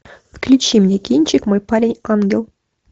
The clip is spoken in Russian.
включи мне кинчик мой парень ангел